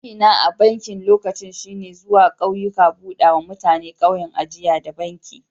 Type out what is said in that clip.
Aiki na a'bankin lokacin shine zuwa kauyuka buda ma mutanen kauyen ajia da banki.